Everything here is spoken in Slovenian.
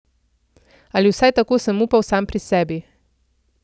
Ali vsaj tako sem upal sam pri sebi.